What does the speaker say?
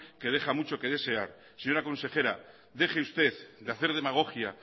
que deja mucho que desear señora consejera deje usted de hacer demagogia